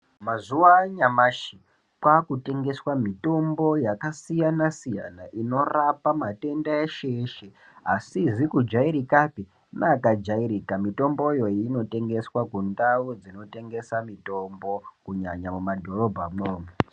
Mazuva anyamashi kwaku tengeswa mitombo yaka siyana siyana inorapa matenda eshe eshe asizi ku jairikapi ne aka jairika mitomboyo ino tengeswa mu ndau dzino tengesa mutombo kunyanya mu madhorobha mwo umu.